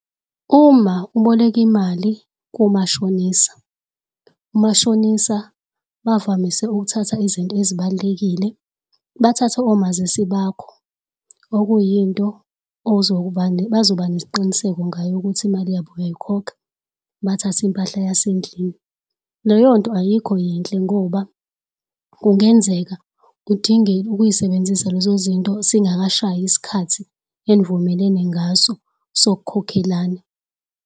Uma uboleka imali kumashonisa, umashonisa bavamise ukuthatha izinto ezibal'lekile. Bathatha omazisi bakho okuyinto ozoba bazoba nesiqiniseko ngayo ukuthi imali yabo uyayikhokha, bathathe impahla yasendlini. Leyonto ayikho yinhle ngoba kungenzeka udinge ukuyisebenzisa lezo zinto singakashayi isikhathi enivumelene ngaso sok'khokhelana.